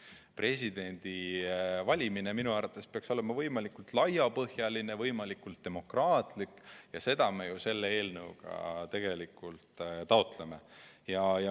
Aga presidendi valimine peaks minu arvates olema võimalikult laiapõhjaline, võimalikult demokraatlik ja seda me ju selle eelnõuga tegelikult taotlemegi.